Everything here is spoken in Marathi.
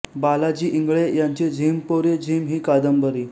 बालाजी इंगळे यांची झिंम पोरी झिंम हि कादंबरी